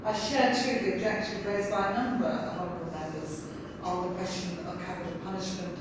I share, too, the objective raised by a number of honourable Members on the question of capital punishment.